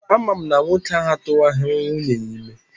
Ama m na nwoke ahụ atụwaghị nwunye ya ime.